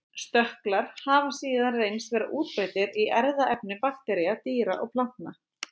Stökklar hafa síðan reynst vera útbreiddir í erfðaefni baktería, dýra og plantna.